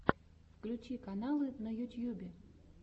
включи каналы на ютьюбе